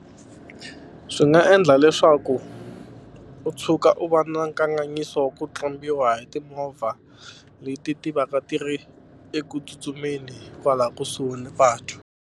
Swi nga endla leswaku u tshuka u va na nkanganyiso wa ku tlumbiwa hi timovha leti ti va ka ti ri eku tsutsumeni kwala kusuhi ni patu.